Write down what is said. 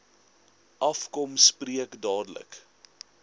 afkom spreek dadelik